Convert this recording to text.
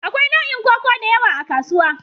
Akwai nau'in koko da yawa a kasuwa.